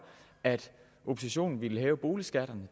at oppositionen ville hæve boligskatterne